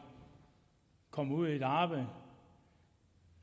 kommer ud på et arbejde